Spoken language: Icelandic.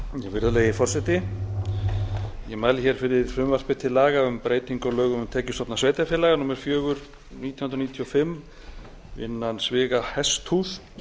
virðulegi forseti ég mæli hér fyrir frumvarp til laga um breytingu á lögum um tekjustofna sveitarfélaga númer fjögur nítján hundruð níutíu og fimm innan sviga hesthús